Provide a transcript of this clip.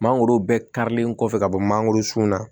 Mangoro bɛɛ karilen kɔfɛ ka bɔ mangoro sun na